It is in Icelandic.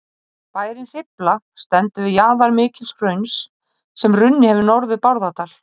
Bærinn Hrifla stendur við jaðar mikils hrauns sem runnið hefur norður Bárðardal.